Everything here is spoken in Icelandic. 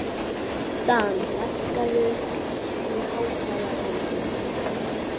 Dan, lækkaðu í hátalaranum.